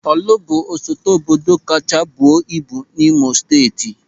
Ọ̀lụ̀ bụ osote obodo kacha buo ibu n'Imo Steeti.